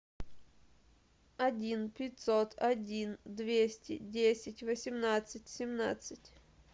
один пятьсот один двести десять восемнадцать семнадцать